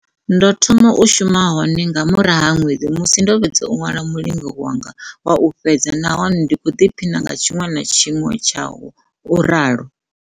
Ndo thoma u shuma hone nga murahu ha ṅwedzi musi ndo fhedza u ṅwala mulingo wanga wa u fhedza nahone ndi khou ḓiphiṋa nga tshiṅwe na tshiṅwe tshawo, u ralo.